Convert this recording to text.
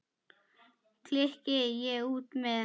klykki ég út með.